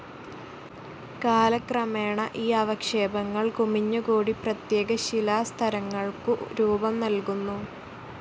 കാലക്രമേണ ഈ അവക്ഷേപങ്ങൾ കുമിഞ്ഞുകൂടി പ്രത്യേക ശിലാസ്തരങ്ങൾക്കു രൂപം നല്കുന്നു.